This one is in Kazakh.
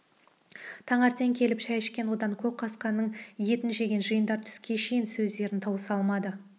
таңертең келіп шай ішкен одан көкқасқаның етін жеген жиындар түске шейін сөздерін тауыса алмады